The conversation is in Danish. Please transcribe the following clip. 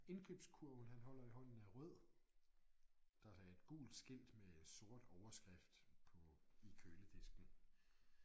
Indkøbskurven han holder i hånden er rød der er et gult skilt med sort overskrift på i køledisken